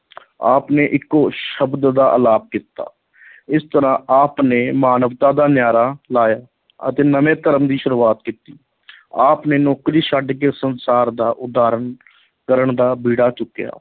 ਆਪ ਨੇ ਇਕੋ ਸ਼ਬਦ ਦਾ ਅਲਾਪ ਕੀਤਾ ਇਸ ਤਰਾ ਆਪ ਨੇ ਮਾਨਵਤਾ ਦਾ ਨਾਅਰਾ ਲਾਇਆ ਅਤੇ ਨਵੇਂ ਧਰਮ ਦੀ ਸ਼ੁਰੂਆਤ ਕੀਤੀ ਆਪ ਨੇ ਨੌਕਰੀ ਛੱਡ ਕੇ ਸੰਸਾਰ ਦਾ ਉਦਾਰਨ ਕਰਨ ਦਾ ਬੀੜਾ ਚੁੱਕਿਆ।